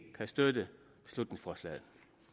kan støtte beslutningsforslaget